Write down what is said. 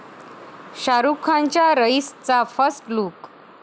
शाहरूखच्या 'रईस'चा first look